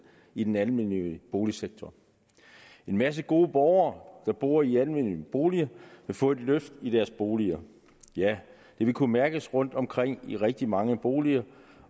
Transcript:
i den almennyttige boligsektor en masse gode borgere der bor i almennyttige boliger vil få et løft i deres boliger ja det vil kunne mærkes rundtomkring i rigtig mange boliger